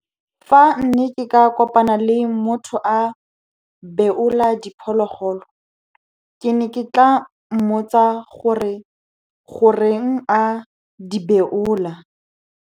Fa ne ke ka kopana le motho a beola diphologolo, ke ne ke tla mmotsa gore goreng a di beola.